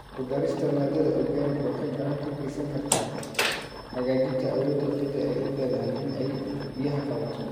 Ku darista maadada organic waxay gacan ka geysan kartaa hagaajinta awoodda ciidda ay u leedahay in ay biyaha qabato.